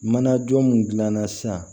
Manajɔ mun gilanna sisan